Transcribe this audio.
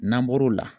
N'an bɔr'o la